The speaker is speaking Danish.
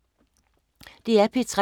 DR P3